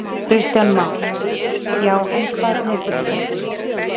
Kristján Már: Já, en hvað tekur svo við?